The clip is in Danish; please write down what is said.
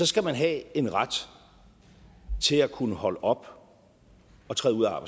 skal man have en ret til at kunne holde op og træde ud af